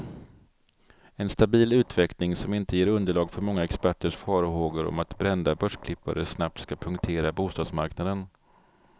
En stabil utveckling, som inte ger underlag för många experters farhågor om att brända börsklippare snabbt ska punktera bostadsmarknaden.